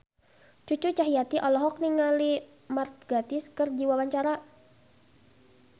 Cucu Cahyati olohok ningali Mark Gatiss keur diwawancara